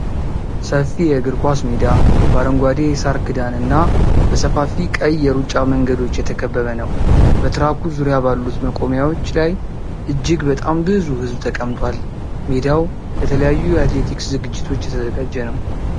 ሰፊ የእግር ኳስ ሜዳ በአረንጓዴ የሣር ክዳን እና በሰፋፊ ቀይ የሩጫ መንገዶች የተከበበ ነው። በትራኩ ዙሪያ ባሉት መቆሚያዎች ላይ እጅግ በጣም ብዙ ሕዝብ ተቀምጧል። ሜዳው ለተለያዩ የአትሌቲክስ ዝግጅቶች የተዘጋጀ ነው።